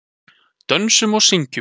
Dönsum og syngjum.